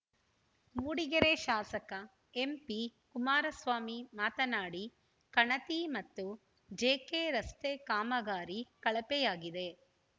ಮೂಡಿಗೆರೆ ಶಾಸಕ ಎಂಪಿ ಕುಮಾರಸ್ವಾಮಿ ಮಾತನಾಡಿ ಕಣತಿ ಮತ್ತು ಜೆಕೆ ರಸ್ತೆ ಕಾಮಗಾರಿ ಕಳಪೆಯಾಗಿದೆ